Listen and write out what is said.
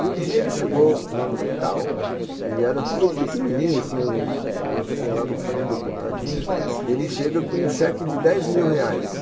E um dia ele chegou lá no hospital, e era tudo pequenininho assim, a gente tinha lá no fundo apertadinho, ele chega com um cheque de dez mil reais.